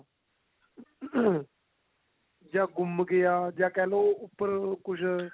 ਜਾਂ ਗੁੰਮ ਜਾਂ ਕਿਹਲੋ ਉੱਪਰ ਕੁਛ